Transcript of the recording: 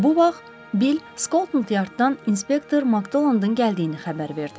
Bu vaxt Bill Skotland Yarddan inspektor Makdonlandın gəldiyini xəbər verdi.